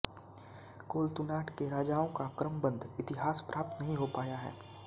कोलत्तुनाड के राजाओं का क्रमबद्ध इतिहास प्राप्त नहीं हो पाया है